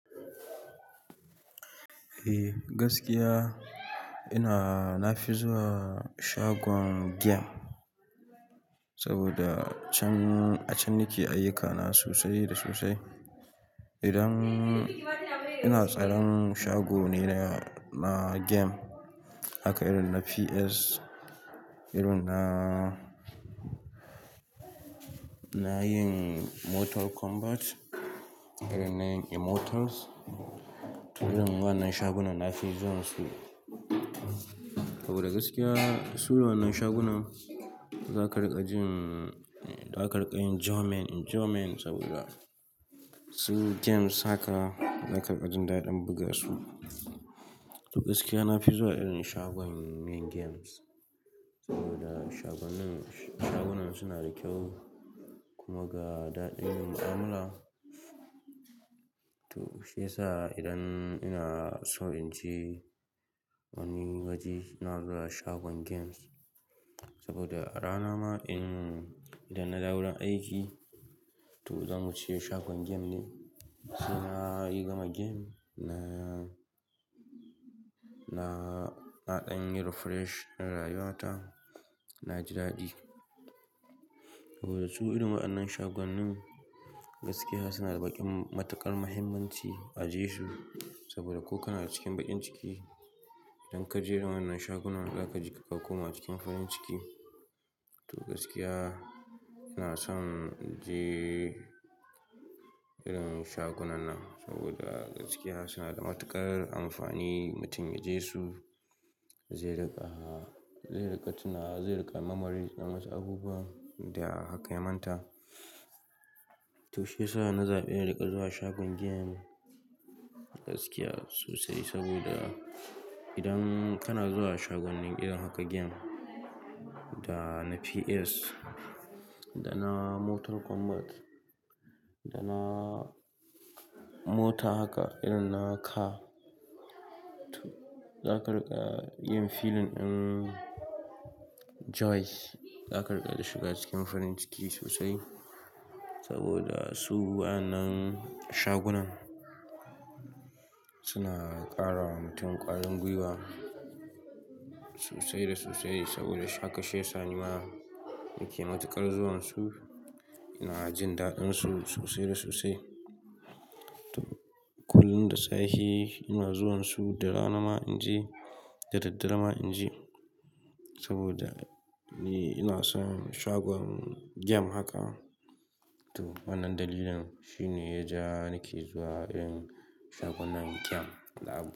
Ei gaskiya, ina-- na fi zuwa shagon game saboda can, a can nake ayyukana sosai da sosai. Idan ina tsaron shago ne na game haka irin na PS, irin na, na yin Mortal Kombat, irin na yin Immortals. To, irin wannan shagunan na fi zuwan su saboda gaskiya su irin wannan shagunan za ka riƙa jin, za ka riƙa yin enjoyment, enjoyment saboda su games haka za ka riƙa jin daɗin buga su. To gaskiya na fi zuwa irin shagon yin games saboda shagunan, shagunan suna da kyau kuma ga daɗin mu'amala. To shi yasa idan ina so in je wani waje, ina zuwa shagon games saboda a rana ma in, idan na dawo aiki to zan wuce shagon game ne. Sai na yi gama game na, na ɗan yi refresh na rayuwata, na ji daɗi. Saboda su irin waɗannan shagonin gaskiya suna da baƙin matuƙar mahimmanci a je su saboda ko kana cikin baƙin ciki, idan ka je irin wannan shagunan za ka ji ka koma cikin farin ciki. To gaskiya ina son in je irin shagunan nan saboda gaskiya suna da matuƙar amfani. Mutum ya je su zai riƙa, zai riƙa tunawa, zai riƙa memories na wasu abubuwan da aka manta. To shi yasa na zaɓi a riƙa zuwa shagon game gaskiya sosai saboda idan kana zuwa shagunan irin haka game da na PS da na Mortal Kombat da na Mota haka irin na Car. To za ka riƙa yin feeling ɗin joy, za ka riƙa da shiga cikin farin ciki sosai saboda su wannan shagunan suna ƙara wa mutum ƙwarin gwiwa sosai da sosai saboda haka shi yasa ni ma nake matuƙar zuwan su, ina jin daɗin su sosai da sosai. To kullum da safe ina zuwan su da rana ma in je da daddare ma in je saboda ni ina son shagon game haka. To wannan dalilin shi ne ya ja nake zuwa irin shagunan game da haka.